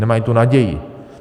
Nemají tu naději.